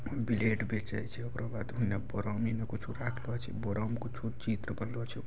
Blade बेचे छै ओकरो बाद उन्ने बोरिनी में कुछ राखलो छै बोरा में कुछो चित्र बनाएल छै।